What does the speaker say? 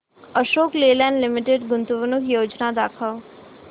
Ashok Leyland limited गुंतवणूक योजना दाखव